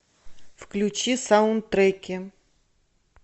включи саундтреки